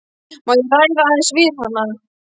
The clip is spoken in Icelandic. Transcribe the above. Má ég ræða aðeins við hana?